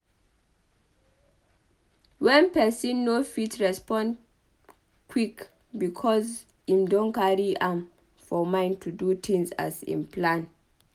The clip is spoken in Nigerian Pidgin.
when person no fit respond quick because im don carry am for mind to do things as im plan